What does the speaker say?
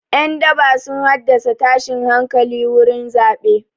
Ƴan daba sun haddasa tashin hankali wurin zaɓe.